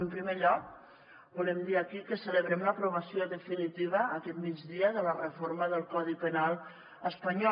en primer lloc volem dir aquí que celebrem l’aprovació definitiva aquest migdia de la reforma del codi penal espanyol